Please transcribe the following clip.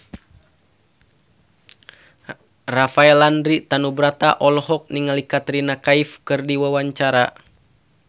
Rafael Landry Tanubrata olohok ningali Katrina Kaif keur diwawancara